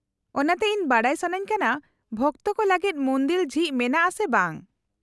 -ᱚᱱᱟᱛᱮ, ᱤᱧ ᱵᱟᱰᱟᱭ ᱥᱟᱹᱱᱟᱹᱧ ᱠᱟᱱᱟ ᱵᱷᱚᱠᱛᱚ ᱠᱚ ᱞᱟᱹᱜᱤᱫ ᱢᱩᱱᱫᱤᱞ ᱡᱷᱤᱡ ᱢᱮᱱᱟᱜᱼᱟ ᱥᱮ ᱵᱟᱝ ᱾